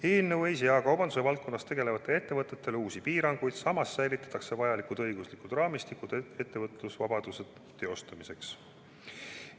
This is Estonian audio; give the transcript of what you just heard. Eelnõu ei sea kaubanduse valdkonnas tegutsevatele ettevõtjatele uusi piiranguid, samas säilitatakse vajalik õiguslik raamistik ettevõtlusvabaduse teostamiseks.